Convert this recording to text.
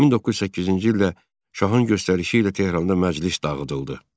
1908-ci ildə şahın göstərişi ilə Tehranda məclis dağıdıldı.